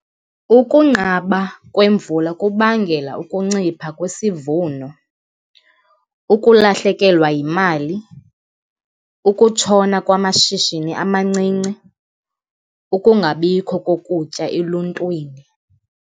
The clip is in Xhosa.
Ukunqaba kwemvula kubangela ukuncipha kwisivuno, ukulahlekelwa yimali, ukutshona kwamashishini amancinci, ukungabikho kokutya eluntwini.